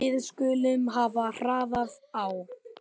Við skulum hafa hraðann á.